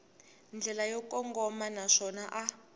ndlela yo kongoma naswona a